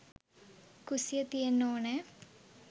කුස්සිය තියෙන්න ඕනෑ